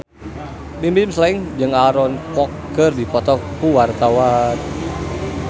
Bimbim Slank jeung Aaron Kwok keur dipoto ku wartawan